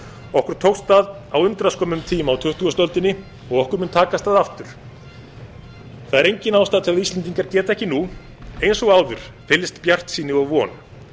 okkur tókst það á undraskömmum tíma á tuttugustu öldinni og okkur mun takast það aftur það er engin ástæða til að íslendingar geti ekki nú eins og áður fyllst bjartsýni og von